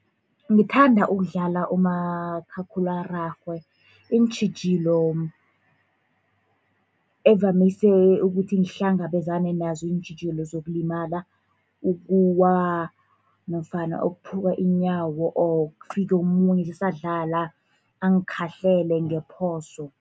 Ngithanda ukudlala umakhakhulararhwe, iintjhijilo evamise ukuthi ngihlangabezane nazo ziintjhijilo zokulimala, ukuwa nofana ukuphuka iinyawo or kufike omunye sisadlala angikhahlele ngephoso.